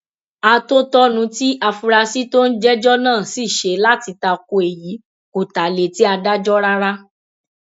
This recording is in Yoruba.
àtòtọnú tí afurasí tó ń jẹjọ náà sì ṣe láti ta ko èyí kò ta létí adájọ rárá